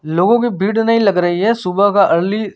लोग कि भीड़ नही लग रही है सुबह का अर्ली --